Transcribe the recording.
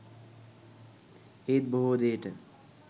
ඒත් බොහෝ දේට